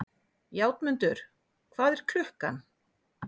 Játmundur, hvað er klukkan?